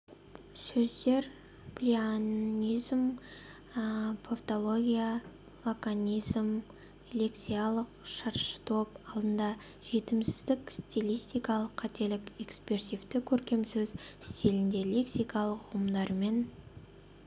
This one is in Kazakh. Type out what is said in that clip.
сөздер плеоназм тавтология лаконизм лексикалық шаршытоп алдында жетімсіздік стилистикалық қателік экспрессивті көркемсөз стилінде лексика ұғымдарымен